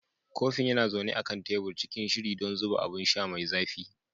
Kofin yana zaune a kan tebur, cikin shiri don zuba abun sha mai zafi.